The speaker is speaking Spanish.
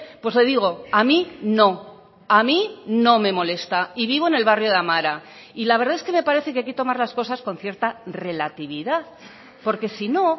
pues le digo a mí no a mí no me molesta y vivo en el barrio de amara y la verdad es que me parece que hay que tomar las cosas con cierta relatividad porque si no